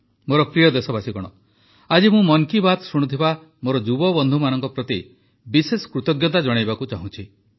ମୋର ପ୍ରିୟ ଦେଶବାସୀଗଣ ଆଜି ମୁଁ ମନ୍ କି ବାତ୍ ଶୁଣୁଥିବା ମୋର ଯୁବବନ୍ଧୁମାନଙ୍କ ପ୍ରତି ବିଶେଷ କୃତଜ୍ଞତା ଜଣାଇବାକୁ ଚାହୁଁଛି